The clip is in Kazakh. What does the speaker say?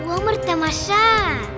өмір тамаша